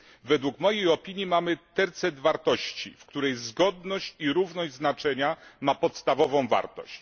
W mojej opinii mamy tercet wartości, w którym zgodność i równość znaczenia ma podstawową wartość.